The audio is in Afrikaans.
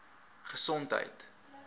gesondheid